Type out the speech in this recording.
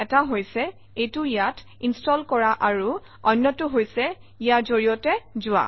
এটা হৈছে এইটো ইয়াত ইনষ্টল কৰা আৰু অন্যটো হৈছে ইয়াৰ জৰিয়তে যোৱা